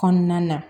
Kɔnɔna na